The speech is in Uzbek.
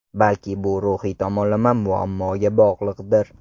Balki bu ruhiy tomonlama muammoga bog‘liqdir.